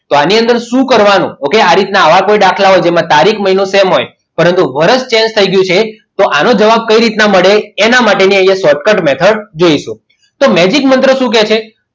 તો આની અંદર શું કરવાનું okay આ રીતે આવા કોઈ દાખલા હોય જેમાં તારીખ મહિનો સેમ હોય પરંતુ વર્ષ change થઈ ગયું છે તો આનો જવાબ કઈ રીતે મળે એના માટે અહીંયા short cut જોઈશું તો megic મંત્ર શું કહે છે આની અંદર